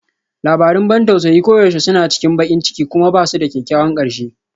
Labarun ban tausayi koyaushe suna cikin baƙin ciki kuma ba su da kyakkyawan ƙarshe